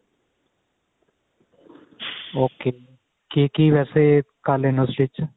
ok ਕੀ ਕੀ ਵੈਸੇ ਕਰ ਲੈਣੇ ਓ stich